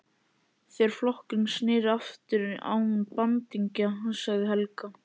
Þegar flokkurinn sneri aftur án bandingja, sagði Helga.